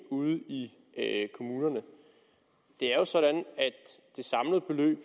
ude i kommunerne det er jo sådan at det samlede beløb